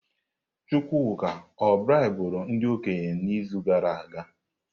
Chukwuka o braiburu ndi okenye n'izu gara aga?